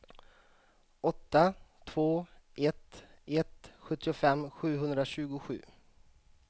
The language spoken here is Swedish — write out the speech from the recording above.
åtta två ett ett sjuttiofem sjuhundratjugosju